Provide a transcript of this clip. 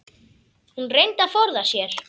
Hún reyndi að forða sér.